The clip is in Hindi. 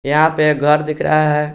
यहां पे एक घर दिख रहा है।